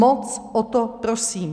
Moc o to prosím.